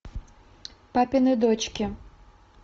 папины дочки